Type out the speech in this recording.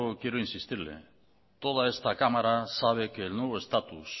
quiero insistirle toda esta cámara sabe que el nuevo estatus